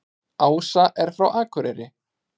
Ása er frá Akureyri.